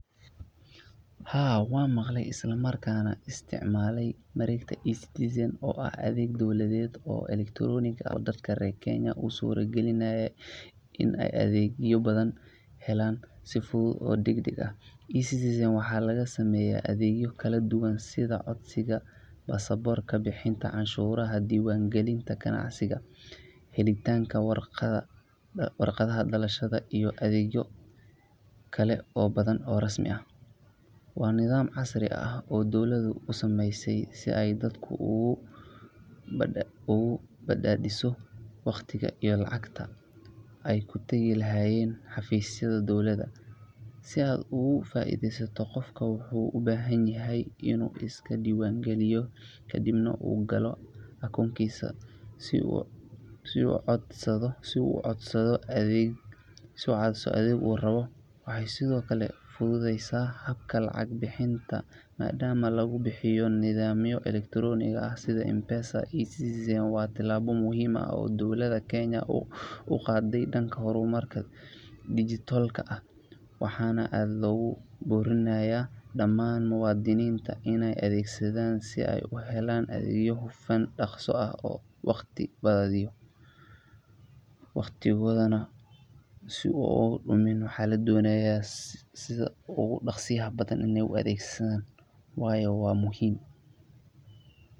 Haa, waxaan maqlay islamarkaana isticmaalay mareegta eCitizen oo ah adeeg dowladeed oo elektaroonik ah oo dadka reer Kenya u suura galinaya in ay adeegyo badan helaan si fudud oo degdeg ah. eCitizen waxaa laga sameeyaa adeegyo kala duwan sida codsiga baasaboorka, bixinta canshuuraha, diiwaangelinta ganacsiga, helitaanka warqadaha dhalashada iyo adeegyo kale oo badan oo rasmi ah. Waa nidaam casri ah oo dowladdu u sameysay si ay dadka ugu badbaadiso waqtiga iyo lacagta ay ku tagi lahaayeen xafiisyada dowladda. Si aad uga faa’iidaysato, qofku wuxuu u baahan yahay inuu iska diiwaangeliyo, kadibna uu galo akoonkiisa si uu u codsado adeega uu rabo. Waxay sidoo kale fududeysay habka lacag bixinta maadaama lagu bixiyo nidaamyo elektaroonik ah sida M-Pesa. eCitizen waa tallaabo muhiim ah oo dowladda Kenya u qaaday dhanka horumarka dijitaalka ah, waxaana aad loogu boorinayaa dhammaan muwaadiniinta inay adeegsadaan si ay u helaan adeeg hufan, dhakhso ah oo waqti badbaadinaya.